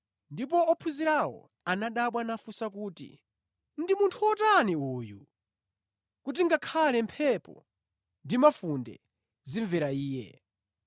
Ndipo ophunzirawo anadabwa nafunsa kuti, “Ndi munthu wotani uyu? Kuti ngakhale mphepo ndi mafunde zimvera Iye!”